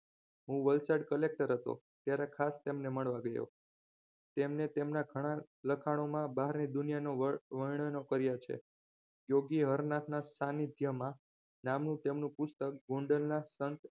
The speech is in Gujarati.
હું વલસાડ collector હતો ત્યારે ખાસ તેમને મળવા ગયો તેમને તેમના ઘણા લખાણોમાં બહારની દુનિયાનો વર્ણનો કર્યા છે યોગી હર નાથના સાનિધ્યમાં નામી તેમનું પુસ્તક ગોંડલના સંત